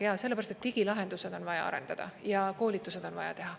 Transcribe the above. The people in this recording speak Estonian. Jaa, sellepärast, et digilahendused on vaja arendada ja koolitused on vaja teha.